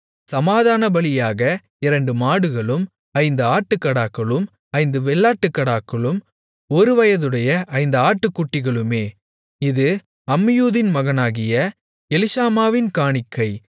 சமாதானபலியாக இரண்டு மாடுகளும் ஐந்து ஆட்டுக்கடாக்களும் ஐந்து வெள்ளாட்டுக்கடாக்களும் ஒருவயதுடைய ஐந்து ஆட்டுக்குட்டிகளுமே இது அம்மியூதின் மகனாகிய எலிஷாமாவின் காணிக்கை